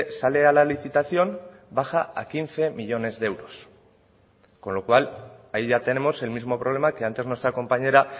sale a la licitación baja a quince millónes de euros con lo cual ahí ya tenemos el mismo problema que antes nuestra compañera